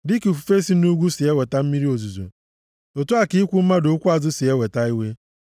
Dịka ifufe si nʼugwu si eweta mmiri ozuzo, otu a ka ikwu mmadụ okwu azụ si eweta iwe.